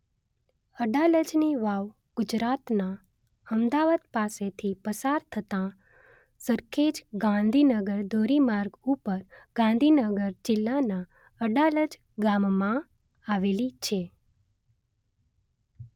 અડાલજની વાવ ગુજરાતનાં અમદાવાદ પાસેથી પસાર થતાં સરખેજ ગાંધીનગર ધોરીમાર્ગ ઉપર ગાંધીનગર જિલ્લાનાં અડાલજ ગામમાં આવેલી છે